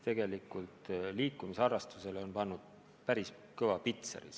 Liikumisharrastusele on see pannud päris kõva pitseri.